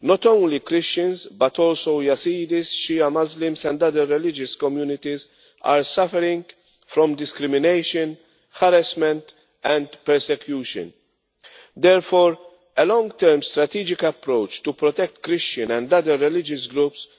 not only Christians but also Yazidis, Shia Muslims and other religious communities are suffering from discrimination, harassment and persecution. Therefore, a long term strategic approach to protect Christian and other religious groups